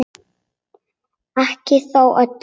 Ekki þó öllum.